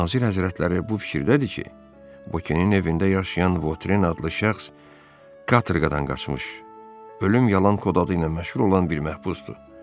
Nazir həzrətləri bu fikirdədir ki, bukenin evində yaşayan Votren adlı şəxs katorqadan qaçmış, Ölüm Yalan kod adı ilə məşğul olan bir məhbusdur.